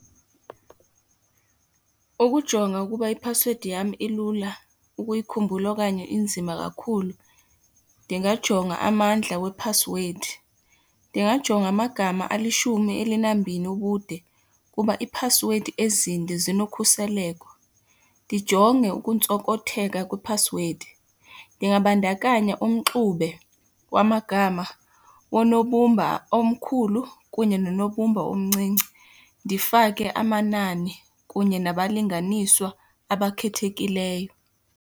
Ukujonga ukuba iphasiwedi yam ilula ukuyikhumbula okanye inzima kakhulu. Ndingajonga amandla wephasiwedi, ndingajonga amagama alishumi elinambini ubude kuba iiphasiwedi ezinde zinokhuseleko. Ndijonge ukuntsokotheka kwephasiwedi, ndingabandakanya umxube wamagama wonobumba omkhulu kunye nonobumba omncinci ndifake amanani kunye nabalinganiswa abakhethekileyo.